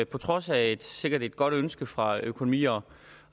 på trods af et sikkert godt ønske fra økonomi og